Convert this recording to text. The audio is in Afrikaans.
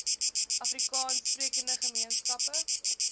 afrikaans sprekende gemeenskappe